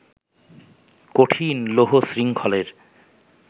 কঠিন লৌহশৃঙ্খলের